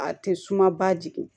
A tɛ suma ba jigin